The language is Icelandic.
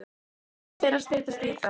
Það fer að styttast í það.